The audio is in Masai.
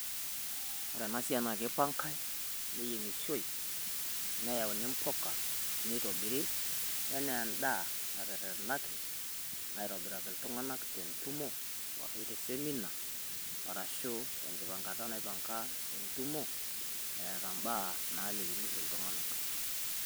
Ore ena siai naa keipangae, neyieng`ishoi, neyauni mpuka. Neitobiri enaa end`aa naterretenaki aitobiraki iltung`anak te ntumo, arashu te seminar arashu tenkipangata naipanga entumo eeta im`baa naalikini iltung`anak.